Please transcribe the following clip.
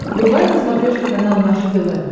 врубай на смотрешке канал наше тв